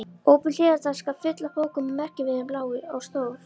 Opin hliðartaska, full af bókum með merkimiðum, lá á stól.